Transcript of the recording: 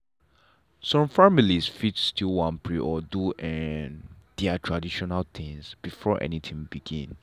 some families fit still wan pray or do um their traditional things before anything begin.